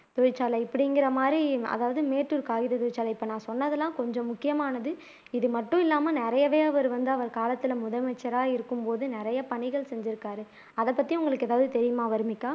தொழிற்சாலை இப்படிங்கிறமாதிரி அதாவது மேட்டூர் காகித தொழிற்சாலை இப்ப நான் சொன்னதெல்லாம் கொஞ்சம் முக்கியமானது இது மட்டும் இல்லாம நிறையவே அவர் வந்து அவர் காலத்துல முதலமைச்சரா இருக்கும்போது நிறைய பணிகள் செஞ்சுருக்கார் அதைப்பத்தி உங்களுக்கு எதாவது தெரியுமா வர்னிகா